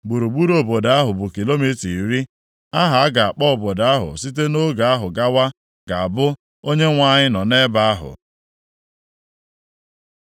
“Gburugburu obodo ahụ bụ kilomita iri. “Aha a ga-akpọ obodo ahụ site nʼoge ahụ gawa, ga-abụ, ‘ Onyenwe anyị nọ nʼebe ahụ.’ ”